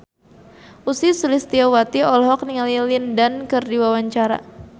Ussy Sulistyawati olohok ningali Lin Dan keur diwawancara